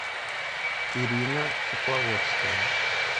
ирина тепловодская